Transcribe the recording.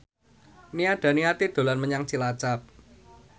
Nia Daniati dolan menyang Cilacap